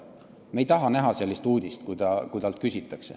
Me ei taha näha sellist uudist, kui talt seda on küsitud.